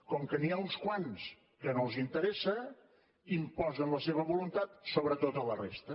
com que n’hi ha uns quants que no els interessa imposen la seva voluntat sobre tota la resta